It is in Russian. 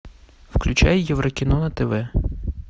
включай еврокино на тв